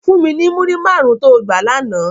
Fún mi ni múrí márùn tó gbá làná